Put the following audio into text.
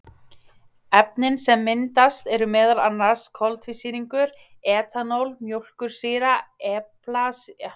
Efnin sem myndast eru meðal annars koltvísýringur, etanól, mjólkursýra, eplasýra, ediksýra og smjörsýra.